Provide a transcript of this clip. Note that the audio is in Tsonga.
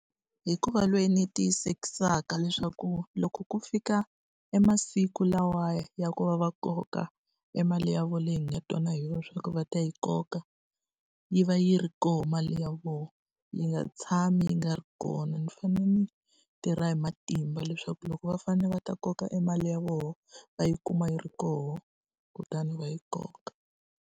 Hi ku va loyi ni tiyisisaka leswaku loko ku fika e masiku lawaya ya ku va va koka e mali ya vona leyi hi nga twana hi yona leswaku va ta yi koka, yi va yi ri kona mali ya vona. Yi nga tshami yi nga ri kona. Ni fanele ni tirha hi matimba leswaku loko va fanele va ta koka e mali ya vona va yi kuma yi ri kona, kutani va yi koka.